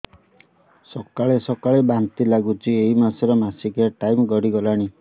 ସକାଳେ ସକାଳେ ବାନ୍ତି ଲାଗୁଚି ଏଇ ମାସ ର ମାସିକିଆ ଟାଇମ ଗଡ଼ି ଗଲାଣି